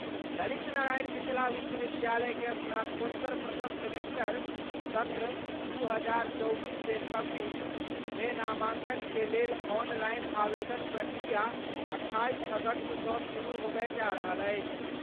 ललित नारायण मिथिला विश्वविद्यालय के स्नातकोत्तर प्रथम सेमेस्टर (सत्र 2024-26) मे नामांकन के लेल ऑनलाइन आवेदनक प्रक्रिया 28 अगस्त सं शुरू होबय जा रहल अछि।